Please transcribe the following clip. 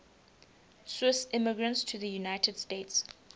swiss immigrants to the united states